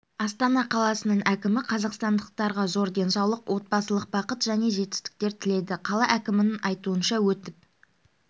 астана қаласының әкімі қазақстандықтарға зор денсаулық отбасылық бақыт және жаңа жетістіктер тіледі қала әкімінің айтуынша өтіп